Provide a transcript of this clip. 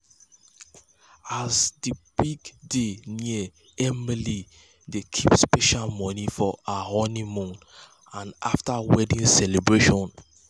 as di big day near emily dey keep special money for her honeymoon and um after wedding um celebration.